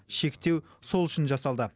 шектеу сол үшін жасалды